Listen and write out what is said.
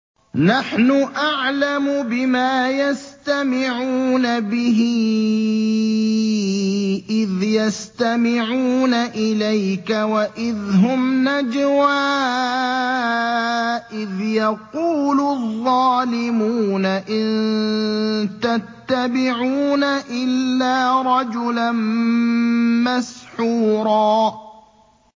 نَّحْنُ أَعْلَمُ بِمَا يَسْتَمِعُونَ بِهِ إِذْ يَسْتَمِعُونَ إِلَيْكَ وَإِذْ هُمْ نَجْوَىٰ إِذْ يَقُولُ الظَّالِمُونَ إِن تَتَّبِعُونَ إِلَّا رَجُلًا مَّسْحُورًا